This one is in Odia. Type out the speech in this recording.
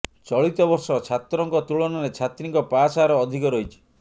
ଚଳିତ ବର୍ଷ ଛାତ୍ରଙ୍କ ତୁଳନାରେ ଛାତ୍ରୀଙ୍କ ପାସ୍ ହାର ଅଧିକ ରହିଛି